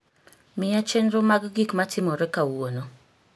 Miya chenro mag gik matimoreb kawuono